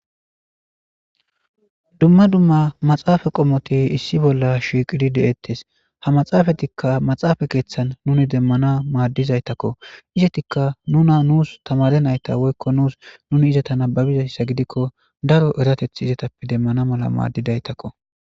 Dumma dumma maxaafa qommoti issi bolla shiiqidi deettes ha maxaafatikka maxaafa keeththan nuni demmana maaddizaytakko izatikka nuna nuus tamare nayta woykko nuus nuni izata nababizayssa gidikko daro erateth izatappe demmana mala maaddidaytakko.